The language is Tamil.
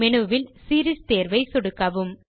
மெனுவில் சீரீஸ் தேர்வை சொடுக்கவும்